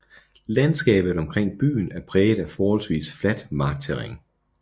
Landskabet omkring byen er præget af forholdvis fladt markterræn